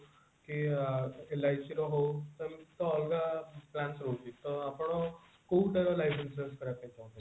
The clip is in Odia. କି LIC ର ହଉ ସେମତି ତ ଅଲଗା branch ରହୁଛି ତ ଆପଣ କୋଉଟା life insurance କରିବା ପାଇଁ ଚାହୁଞ୍ଚନ୍ତି